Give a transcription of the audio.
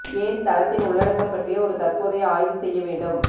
ஏன் தளத்தின் உள்ளடக்கம் பற்றிய ஒரு தற்போதைய ஆய்வு செய்ய வேண்டும்